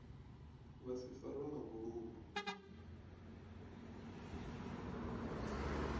vha si farwe nga vhuludu